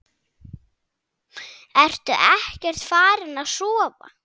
Ertu ekkert farin að sofa!